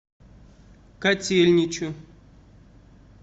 котельничу